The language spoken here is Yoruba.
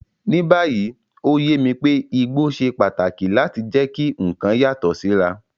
Ní báyìí, ó yé mi pé igbó ṣe pàtàkì láti jẹ́ kí nǹkan yàtọ̀ síra.